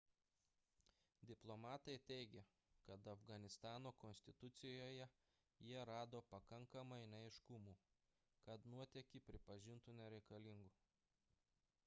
diplomatai teigė kad afganistano konstitucijoje jie rado pakankamai neaiškumų kad nuotėkį pripažintų nereikalingu